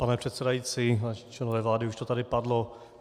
Pane předsedající, vážení členové vlády, už to tady padlo.